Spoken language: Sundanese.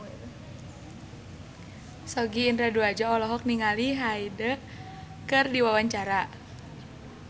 Sogi Indra Duaja olohok ningali Hyde keur diwawancara